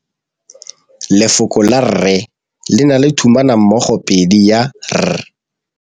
Lefoko la rre le na le tumammogôpedi ya, r.